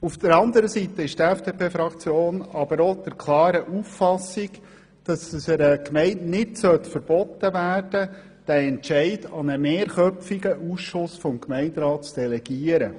Auf der anderen Seite ist die FDP-Fraktion aber auch der klaren Auffassung, dass es einer Gemeinde nicht verboten werden darf, den Entscheid an einen mehrköpfigen Ausschuss des Gemeinderats zu delegieren.